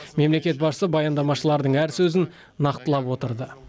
мемлекет басшысы баяндамашылардың әр сөзін нақтылап отырды